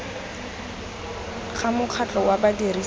ga mokgatlho wa badirisi ba